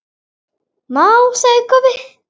másaði Kobbi.